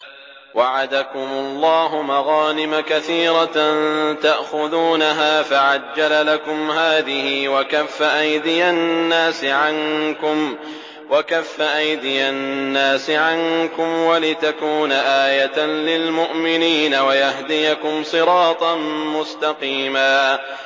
وَعَدَكُمُ اللَّهُ مَغَانِمَ كَثِيرَةً تَأْخُذُونَهَا فَعَجَّلَ لَكُمْ هَٰذِهِ وَكَفَّ أَيْدِيَ النَّاسِ عَنكُمْ وَلِتَكُونَ آيَةً لِّلْمُؤْمِنِينَ وَيَهْدِيَكُمْ صِرَاطًا مُّسْتَقِيمًا